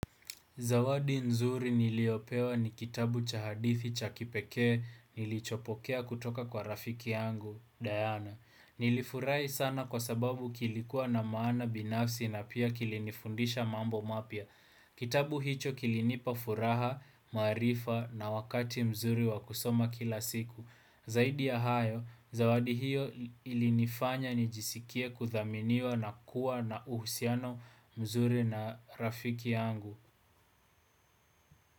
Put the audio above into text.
Zawadi nzuri niliyopewa ni kitabu cha hadithi cha kipekee nilichopokea kutoka kwa rafiki yangu, Diana. Nilifurahi sana kwa sababu kilikuwa na maana binafsi na pia kilinifundisha mambo mapya. Kitabu hicho kilinipa furaha, maarifa na wakati mzuri wa kusoma kila siku. Zaidi ya hayo, zawadi hiyo ilinifanya nijisikie kuthaminiwa na kuwa na uhusiano mzuri na rafiki yangu.